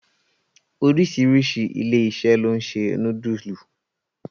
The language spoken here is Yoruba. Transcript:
Oríṣiríṣi ilé-iṣẹ́ ló ń ṣe núdùsù.